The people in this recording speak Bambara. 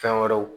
Fɛn wɛrɛw